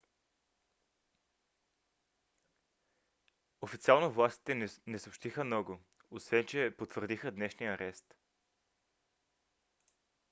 официално властите не съобщиха много освен че потвърдиха днешния арест